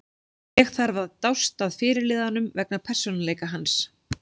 Ég þarf að dást að fyrirliðanum vegna persónuleika hans.